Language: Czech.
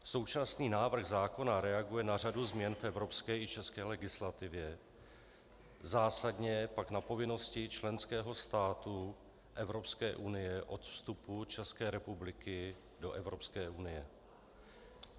Současný návrh zákona reaguje na řadu změn v evropské i české legislativě, zásadně pak na povinnosti členského státu Evropské unie od vstupu České republiky do Evropské unie.